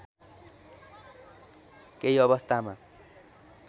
केही अवस्थामा